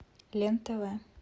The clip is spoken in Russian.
лен тв